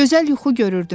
Gözəl yuxu görürdüm.